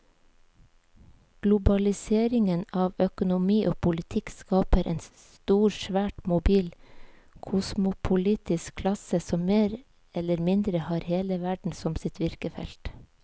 Globaliseringen av økonomi og politikk skaper en stor, svært mobil kosmopolitisk klasse som mer eller mindre har hele verden som sitt virkefelt.